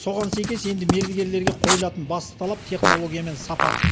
соған сәйкес енді мердігерлерге қойылатын басты талап технология мен сапа